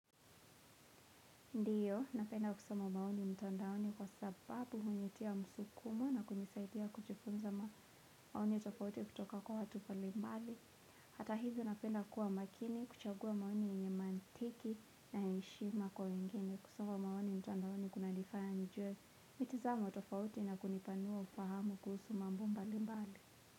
Ndiyo, napenda kusoma maoni mtandaoni kwa sababu hunitia msukumo na kunisaidia kujifunza maoni tofauti kutoka kwa watu mbalimbali. Hata hivyo napenda kuwa makini kuchagua maoni yenye mantiki na heshima kwa wengine kusoma maoni mtandaoni kunanifanya nijue. Mitazamo tofauti na kunipanua ufahamu kuhusu mambo mbalimbali.